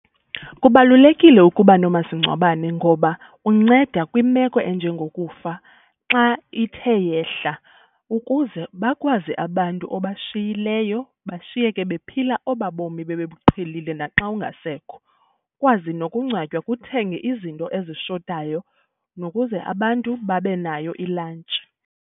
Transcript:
Kubalulekile ukuba nomasingcwabane ngoba unceda kwimeko enjengokufa xa ithe yehla ukuze bakwazi abantu obashiyileyo bashiyeke bephila obaa bomi bebebuqhelile xa ungasekho. Ukwazi nokungcwatywa, kuthengwe izinto ezishotayo nokuze abantu babe nayo i-lunch.